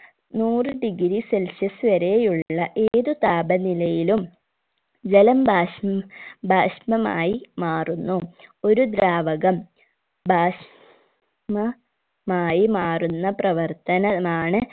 നൂറ് degree celsius വരെയുള്ള ഏത് താപനിലയിലും ജലം ബാഷിം ബാഷ്‌ണമായി മാറുന്നു ഒരു ദ്രാവകം ബാഷ് മ മായി മാറുന്ന പ്രവർത്തനമാണ്